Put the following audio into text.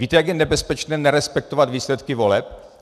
Víte, jak je nebezpečné nerespektovat výsledky voleb?